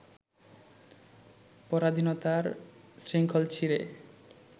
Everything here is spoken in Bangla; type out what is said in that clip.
পরাধীনতার শৃঙ্খল ছিঁড়ে